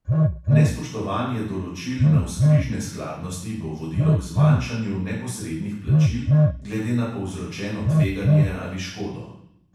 Nespoštovanje določil navzkrižne skladnosti bo vodilo k zmanjšanju neposrednih plačil glede na povzročeno tveganje ali škodo.